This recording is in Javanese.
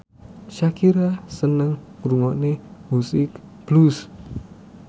Shakira seneng ngrungokne musik blues